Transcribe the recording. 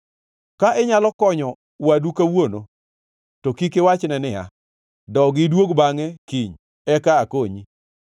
Ka inyalo konyo wadu kawuono, to kik iwachne niya, “Dogi iduog bangʼe kiny, eka akonyi.”